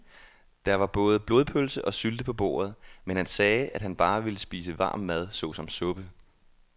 Der var både blodpølse og sylte på bordet, men han sagde, at han bare ville spise varm mad såsom suppe.